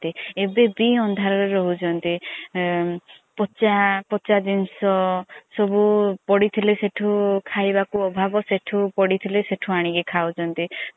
ଏବେ ବି ଅନ୍ଧାର ରେ ରହୁଛନ୍ତି ପଛା ପଛା ଜିନିଷ ସବୁ ପଡିଥିଲେ ସେଠୁ ଖାଇବାକୁ ଅଭାଭ ସେଠୁ ପଡିଥିଲେ ସେଠୁ ଅନିକୀ ଖାଉଛନ୍ତି।